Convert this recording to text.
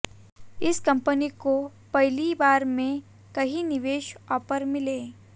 इस कंपनी को पहली ही बार में कई निवेश ऑफर मिले